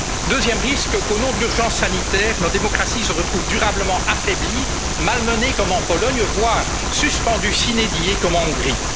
existence. Deuxième risque qu'au nom de l'urgence sanitaire, nos démocraties se retrouvent durablement affaiblies, malmenées comme en Pologne, voire suspendues sine die comme en